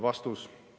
" Vastus.